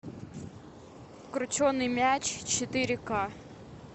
крученый мяч четыре к